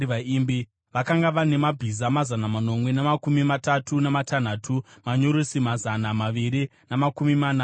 Vakanga vane mabhiza mazana manomwe namakumi matatu namatanhatu, manyurusi mazana maviri namakumi mana namashanu,